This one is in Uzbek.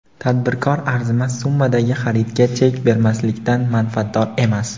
"Tadbirkor arzimas summadagi xaridga chek bermaslikdan manfaatdor emas".